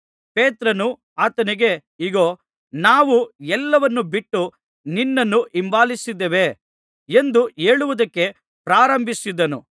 ಪೇತ್ರನು ಆತನಿಗೆ ಇಗೋ ನಾವು ಎಲ್ಲವನ್ನೂ ಬಿಟ್ಟು ನಿನ್ನನ್ನು ಹಿಂಬಾಲಿಸಿದ್ದೇವೆ ಎಂದು ಹೇಳುವುದಕ್ಕೆ ಪ್ರಾರಂಭಿಸಿದನು